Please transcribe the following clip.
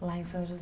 Lá em São Jo